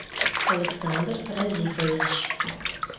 александр разифович